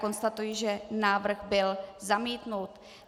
Konstatuji, že návrh byl zamítnut.